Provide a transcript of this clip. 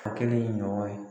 Ka kɛ ɲɔgɔn ye.